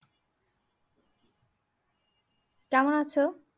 কেমন আছো?